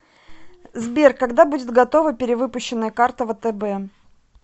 сбер когда будет готова перевыпущенная карта втб